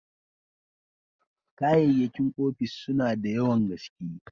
Kayyakin ofis suna da yawan gaske.